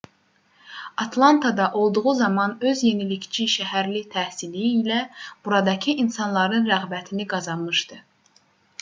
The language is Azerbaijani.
atlantada olduğu zaman öz yenilikçi şəhərli təhsili ilə buradakı insanların rəğbətini qazanmışdı